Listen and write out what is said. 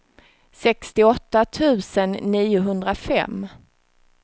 sextioåtta tusen niohundrafem